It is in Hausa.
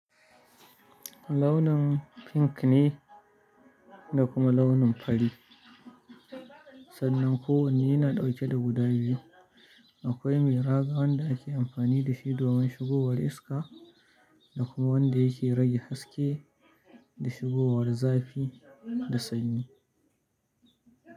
Launin pink ne da kuma launin fari. Sannan kowanne yana ɗauke da guda biyu. Akwai mai raga wanda ake amfani da shi domin shigowa riska da kuma wanda yake rage haske da shigowar zafi da sanyi.